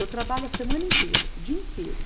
Eu trabalho a semana inteira, o dia inteiro.